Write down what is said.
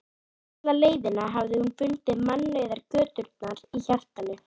Alla leiðina hafði hún fundið mannauðar göturnar í hjartanu.